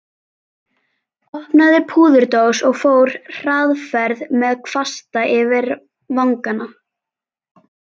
Opnaði púðurdós og fór hraðferð með kvasta yfir vangana.